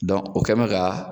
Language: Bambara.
o kɛn bɛ ka